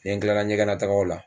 Nɛ n tilala ɲɛgɛnatagaw la